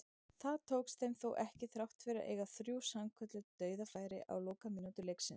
Það tókst þeim þó ekki þrátt fyrir að eiga þrjú sannkölluð dauðafæri á lokamínútum leiksins.